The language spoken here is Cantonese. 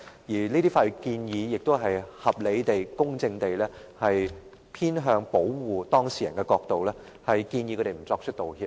而這些法律建議亦是從合理地、公正地偏向保護當事人的角度，建議他們不作出道歉。